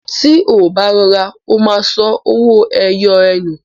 Tí ó bá rọra, ó ma sọ owó ẹyọ ẹ nù